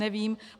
Nevím.